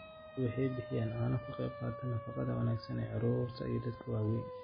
Lo'du waxay bixiyaan caano ka qaybqaata nafaqada wanaagsan ee carruurta iyo dadka waaweyn.